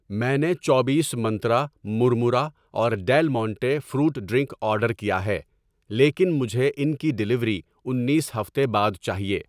میں نے چوبیس منترا مرمرہ اور Del Monte fruit drink order کیا ہے، لیکن مجھے ان کی ڈیلیوری انیس ہفتے بعد چاہیے۔